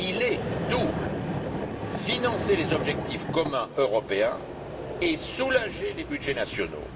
Il est double financer les objectifs communs européens et soulager les budgets nationaux.